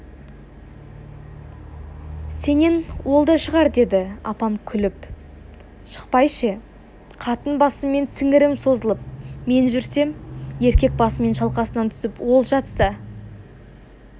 сенен ол да шығар деді апам күліп шықпай ше қатын басыммен сіңірім созылып мен жүрсем еркек басымен шалқасынан түсіп ол жатса